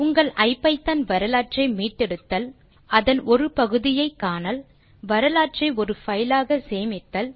உங்கள் ஐபிதான் வரலாற்றை மீட்டெடுத்தல் அதன் ஒரு பகுதியை காணல் வரலாற்றை ஒரு பைல் ஆக சேமித்தல்